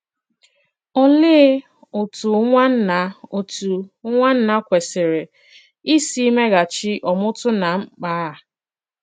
Olee òtù nwànnà òtù nwànnà kwesìrè ìsì mèghàchì òmùtù ná mmkpa à?